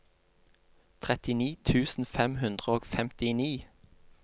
trettini tusen fem hundre og femtini